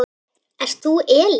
Ert þú Elín?